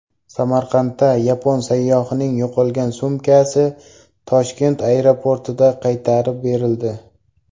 Samarqandda yapon sayyohining yo‘qolgan sumkasi Toshkent aeroportida qaytarib berildi.